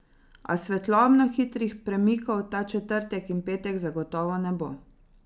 A svetlobno hitrih premikov ta četrtek in petek zagotovo ne bo.